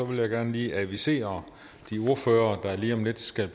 vil jeg gerne lige advisere de ordførere der lige om lidt skal